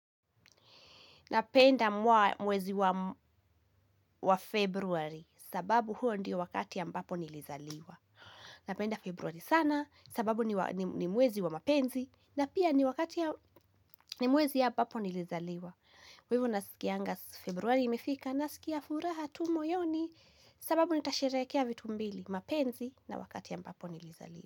Napenda mwezi wa februari sababu huo ndiyo wakati ambapo nilizaliwa. Napenda februari sana sababu ni mwezi wa mapenzi na pia ni mwezi ambapo nilizaliwa. Hivo nasikianga februari imefika nasikia furaha tu moyoni sababu nitasherehekea vitu mbili mapenzi na wakati ambapo nilizaliwa.